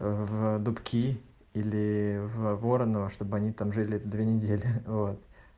в дубки или в вороново чтобы они там жили две недели вот